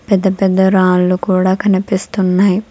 పెద్ద పెద్ద రాళ్లు కూడా కనిపిస్తున్నాయి